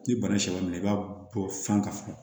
Ni bana sɔminɛ i b'a bɔ fan ka funu